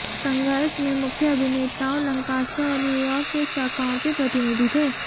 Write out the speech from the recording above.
संघर्ष में मुख्य अभिनेताओं लंकास्टर और न्यूयॉर्क के शाखाओं के प्रतिनिधि थे